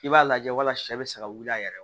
I b'a lajɛ wala sɛ bɛ se ka wuli a yɛrɛ ye